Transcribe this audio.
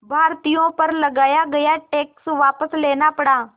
भारतीयों पर लगाया गया टैक्स वापस लेना पड़ा